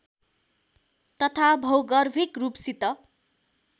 तथा भौगर्भिक रूपसित